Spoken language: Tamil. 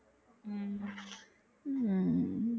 உம்